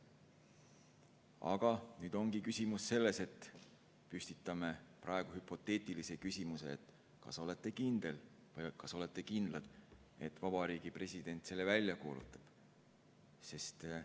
Aga nüüd püstitame hüpoteetilise küsimuse: kas olete kindlad, et Vabariigi President selle välja kuulutab?